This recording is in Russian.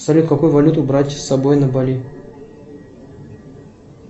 салют какую валюту брать с собой на бали